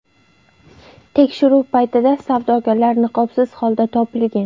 Tekshiruv paytida savdogarlar niqobsiz holda topilgan.